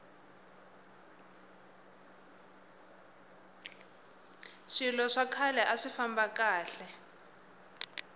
swilo swa khale aswi famba kahle